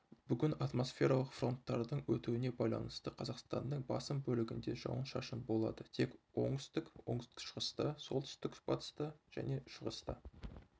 бүгін атмосфералық фронттардың өтуіне байланысты қазақстанның басым бөлігінде жауын-шашын бoлады тек оңтүстік оңтүстік-шығыста солтүстік-батыста және шығыста